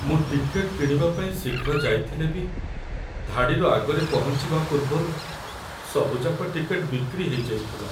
ମୁଁ ଟିକେଟ୍‌ କିଣିବା ପାଇଁ ଶୀଘ୍ର ଯାଇଥିଲେ ବି ଧାଡ଼ିର ଆଗରେ ପହଞ୍ଚିବା ପୂର୍ବରୁ ସବୁଯାକ ଟିକେଟ୍‌ ବିକ୍ରି ହେଇଯାଇଥିଲା ।